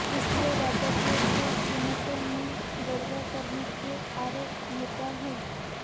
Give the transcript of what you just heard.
इसलिए व्यापारियों के कीमतों में गड़बड़ करने के आरोप निराधार हैं